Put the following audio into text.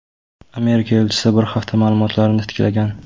Amerika elchisi bir hafta ma’lumotnomalarni titkilagan.